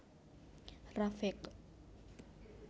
Rafiq